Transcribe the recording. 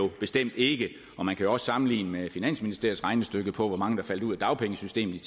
bestemt ikke man kan også sammenligne det med finansministeriets regnestykke for hvor mange der ville falde ud af dagpengesystemet